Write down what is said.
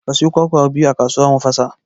Ka sayo kwakwa biyu a kasuwa mu fasa